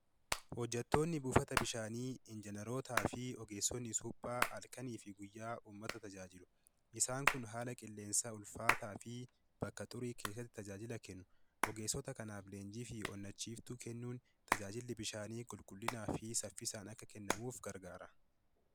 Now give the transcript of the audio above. Hojjettoonni buufata bishaanii injiinarootaa fi ogeessotni suphaa halkanii fi guyyaa uummata tajaajilu. Isaan kun haala qilleensaa ulfaataa fi bakka xurii keessatti tajaajila kennu. Ogeessota kanaaf leenjii fi onnachiistuu kennuun tajaajilli bishaanii qulqullinaa fi saffisaan akka kennamuuf gargaara.